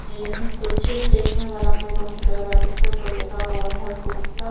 यह कुछ स्टेशन वाला कोई रूम से लगा जिसके ऊपर लिखा हुआ है गुप्ता--